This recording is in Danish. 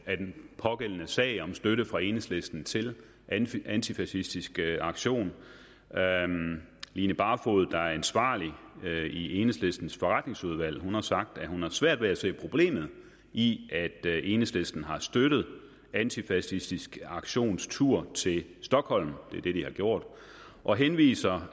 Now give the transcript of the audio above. af den pågældende sag om støtte fra enhedslisten til antifacistisk aktion line barfod der er ansvarlig i enhedslistens forretningsudvalg har sagt at hun har svært ved at se problemet i at enhedslisten har støttet antifacistisk aktions tur til stockholm det er det de har gjort og henviser